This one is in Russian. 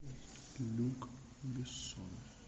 люк бессон